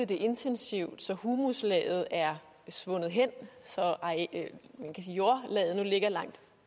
det intensivt så humuslaget er svundet hen så jordlaget nu ligger langt